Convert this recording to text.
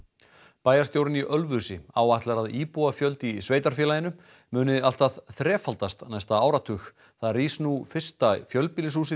bæjarstjórinn í Ölfusi áætlar að íbúafjöldi í sveitarfélaginu muni allt að þrefaldast á næsta áratug þar rís nú fyrsta fjölbýlishúsið